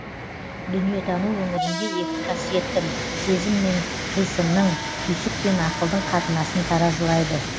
дүниетану өңірінде екі қасиеттің сезім мен қыйсынның түйсік пен ақылдың қатынасын таразылайды